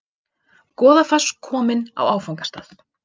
Goðafoss kominn á áfangastað